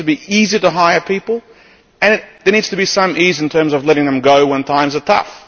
It needs to be easier to hire people, and there needs to be some ease in terms of letting them go when times are tough.